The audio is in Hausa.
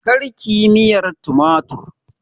Karkiyi miyan tumatir